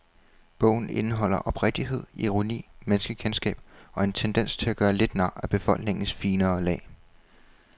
Bogen indeholder oprigtighed, ironi, menneskekendskab og en tendens til at gøre lidt nar af befolkningens finere lag.